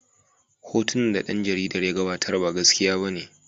Hotunan da ɗan jaridar ya gabatar ba gaskiya bane.